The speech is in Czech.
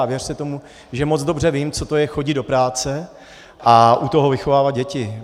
A věřte tomu, že moc dobře vím, co to je chodit do práce a u toho vychovávat děti.